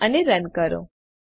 સેવ અને રન કરો